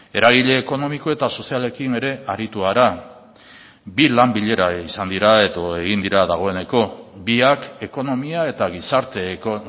eragile ekonomiko eta sozialekin ere aritu gara bi lan bilera izan dira edo egin dira dagoeneko biak ekonomia eta gizarteko